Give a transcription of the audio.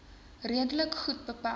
redelik goed beperk